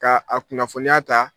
K'a a kunnafoniya ta